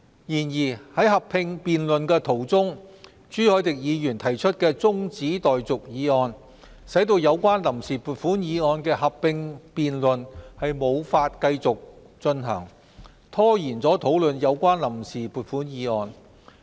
然而，在合併辯論途中，朱凱廸議員提出中止待續議案，使有關臨時撥款議案的合併辯論無法繼續進行，拖延討論有關臨時撥款議案。